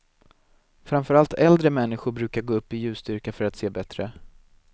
Framför allt äldre människor brukar gå upp i ljusstyrka för att se bättre.